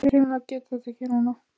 Ég hreinlega get þetta ekki núna.